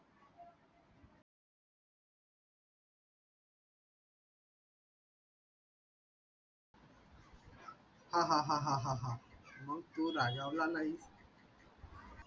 हाहा हाहा मग तू रागावला नाहीस